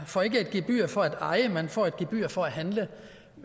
får et gebyr for at eje man får et gebyr for at handle